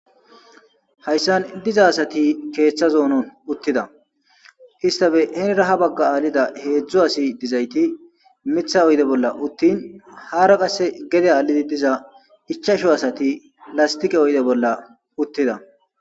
hayssan diza asati keeththazoonon uttida istafe henira ha bagga aalida heedzdzo asi dizayti mitha oyde bolla uttin haara qasse gede aalidi diza ichasho asati lastiqe oyde bolla uttida.